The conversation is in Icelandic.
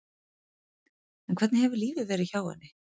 En hvernig hefur lífið verið hjá henni?